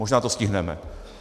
Možná to stihneme.